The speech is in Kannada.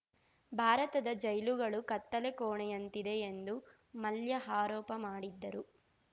ಭಾರತದ ಜೈಲುಗಳು ಕತ್ತಲೆ ಕೋಣೆಯಂತಿದೆ ಎಂದು ಮಲ್ಯ ಆರೋಪ ಮಾಡಿದ್ದರು